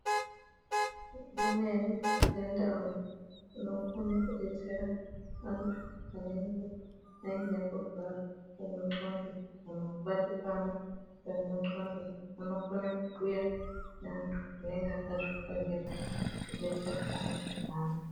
Imweni yendau inokone kudetsera antu anenga aine kurwara kwendxondo Kana kubatikana kwemundxondo anokone kibhuya neantu anenge akazvifundira kudetsere ndxondo dzaantu.